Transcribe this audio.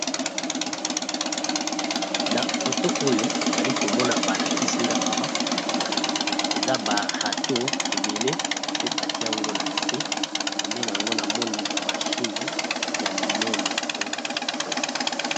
Na photo oyo nali ko mona ba lakisi nga awa eza ba râteau ébélé pe ba ti'ango na se , pene n'ango, na moni ba machine ya minene pe ya kitoko .